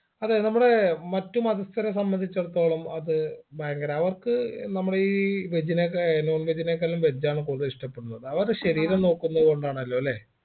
അതെ നമ്മുടെ മറ്റു മതസ്ഥരെ സംബന്ധിച്ചെടുത്തോളം അത് ഭയങ്കര അവർക്ക് നമ്മുടെ ഈ veg നെ ക non veg നേക്കാളും veg ആണ് കൂടുതൽ ഇഷ്ടപ്പെടുന്നത് അവരെ ശരീരം നോക്കുന്നത് കൊണ്ടാണല്ലോ അല്ലെ